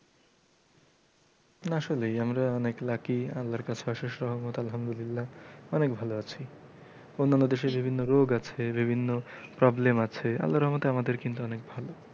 না আসলেই আমরা অনেক lucky আল্লার কাছে অশেষ রহমত আলহামদুলিল্লা অনেক ভালো আছি অন্যান্য দেশে বিভিন্ন রোগ আছে বিভিন্ন problem আছে আল্লা রহমতে আমাদের কিন্তু আমাদের কিন্তু অনেক ভালো।